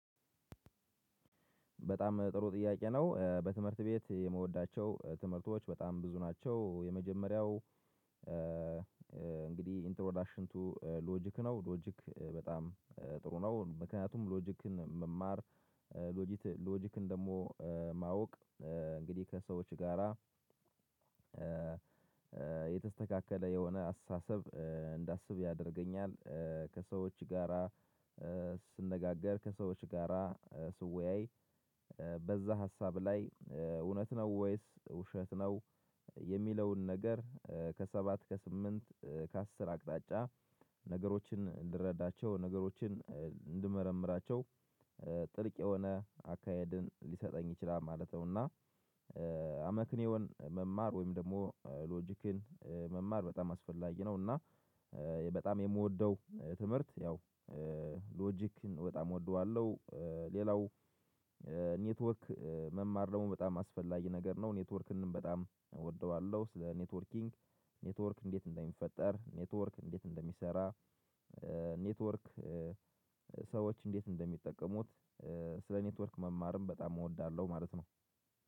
በጣም ጥሩ ጥያቄ ነው። በትምህርት ቤት የምወዳቸው ትምህርቶች በጣም ብዙ ናቸው። የመጀመሪያው እንግዲህ ኢንትሮዳሽን ቱ ሎጂክ ነው ሎጂክ በጣም ጥሩ ነው ምክንያቱም ሎጂክን መማር ሎጂክን ደግሞ ማወቅ እንግዲህ ከሰዎች ጋራ የተስተካከለ የሆነ አስተሳሰብ እንዳስብ ያደርገኛል ከሰዎች ጋራ ስነጋገር፣ ከሰዎች ጋራ ስወያይ፣ በዛ ሀሳብ ላይ እውነት ነው ወይስ ውሸት ነው የሚለውን ነገር ከሰባት ከስምንት ከአስር አቅጣጫ ነገሮችን እንድረዳቸው ነገሮችን እንድመረምራቸው ጥልቅ የሆነ አካሄድን ሊሰጠኝ ይችላል ማለት ነውና አመክንዮን መማር ወይም ደግሞ ሎጂክን መማር በጣም አስፈላጊ ነው እና በጣም የምወደው ትምህርት ያው ሎጂክን በጣም እወደዋለሁ ሌላው ኔትወርክ መማር ደግሞ በጣም አስፈላጊ ነገር ነው። ኔትወርክን በጣም እወደዋለሁ ስለ ኔትወርኪንግ ኔትወርክ እንዴት እንደሚፈጠር ኔትወርክ እንዴት እንደሚሰራ ኔትወርክ ሰዎች እንዴት እንደሚጠቀሙት ስለ ኔትወርክ መማርም በጣም እወዳለሁ ማለት ነው